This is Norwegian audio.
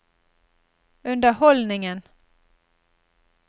underholdningen